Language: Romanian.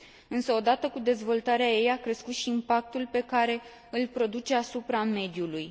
Însă, odată cu dezvoltarea ei, a crescut și impactul pe care îl produce asupra mediului.